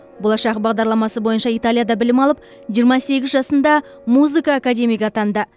болашақ бағдарламасы бойынша италияда білім алып жиырма сегіз жасында музыка академигі атанды